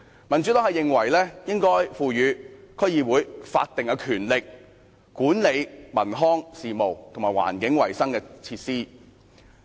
民主黨認為應該賦予區議會法定的權力，管理文康事務和環境衞生設施。